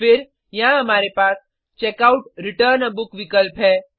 फिर यहाँ हमारे पास checkoutरिटर्न आ बुक विकल्प है